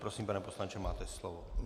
Prosím, pane poslanče, máte slovo.